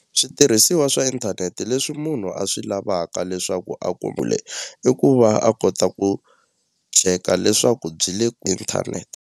Switirhisiwa swa inthanete leswi munhu a swi lavaka leswaku a i ku va a kota ku cheka leswaku byi le inthanete.